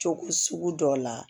Cogo sugu dɔ la